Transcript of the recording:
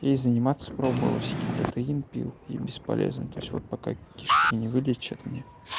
и заниматься пробовал всякие протеин пил и бесполезно то есть вот пока кишки не вылечат мне